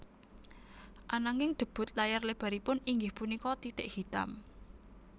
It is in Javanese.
Ananging debut layar lebaripun inggih punika Titik Hitam